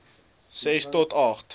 ses tot agt